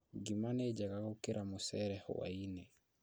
Ngima nĩ njega gũkĩra mũcere hwaĩ-inĩ